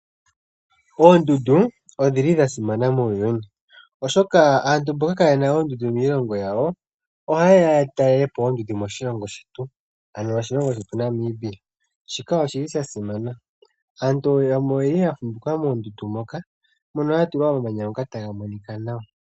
Oondundu odhili dhasimana muuyuni, oshoka aantu mboka kayena oondundu miilongo yawo, ohaye ya yatalelepo oondundu moshilongo shetu, ano oshilongo shetu Namibia. Shika oshili sha simana. Aantu yamwe oyeya yuuka moondundu moka, mono mwatulwa omamanya onga taga monika nawa.